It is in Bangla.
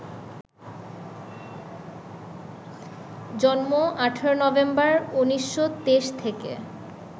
জন্ম ১৮ নভেম্বর, ১৯২৩ থেকে